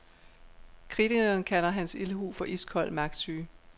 Kritikerne kalder hans ildhu for iskold magtsyge.